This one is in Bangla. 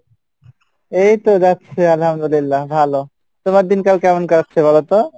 এইতো যাচ্ছে আলহামদুলিল্লা ভালো। তোমার দিনকাল কেমন কাটছে বলতো?